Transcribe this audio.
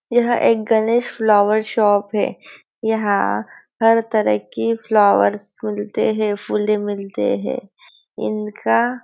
यह एक Ganesh flower shop है यहाँ हर तरह की फ्लॉवर्स मिलते हैं फूलें मिलते हैं इनका--